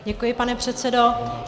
Děkuji, pane předsedo.